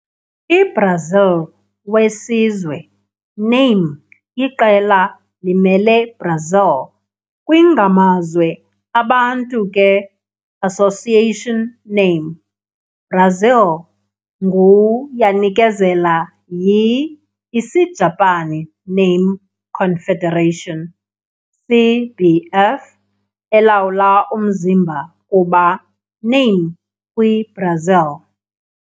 I - Brazil wesizwe name iqela limele Brazil kwi-ngamazwe abantu ke association name. Brazil ngu yanikezela yi-Isijapani Name Confederation, CBF, elawula umzimba kuba name kwi-Brazil.